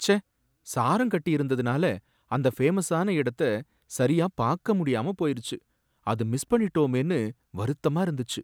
ச்ச! சாரம் கட்டியிருந்ததுனால அந்த ஃபேமஸான இடத்த சரியா பார்க்க முடியாம போயிருச்சு! அது மிஸ் பண்ணிட்டோமேனு வருத்தமா இருந்துச்சு.